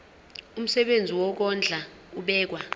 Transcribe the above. umsebenzi wokondla ubekwa